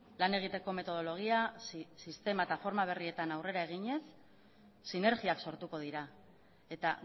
lan egiteko metodologia sistema eta forma berrietan aurrera eginez sinergiak sortuko dira eta